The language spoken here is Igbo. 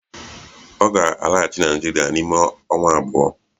Ọ ga-alaghachi Naịjirịa n'ime ọnwa abụọ